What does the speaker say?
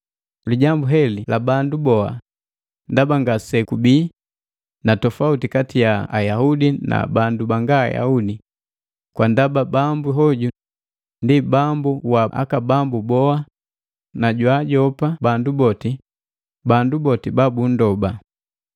Lijambu heli la bandu boha, ndaba ngasekubi na tofauti kati ja Ayaudi na bandu banga Ayaudi, kwa ndaba Bambu hoju ndi Bambu wa bandu boha na jwaajopa bandu boti ba bunndoba.